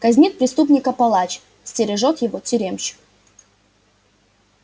казнит преступника палач стережёт его тюремщик